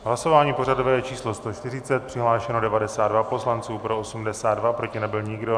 Hlasování pořadové číslo 140, přihlášeno 92 poslanců, pro 82, proti nebyl nikdo.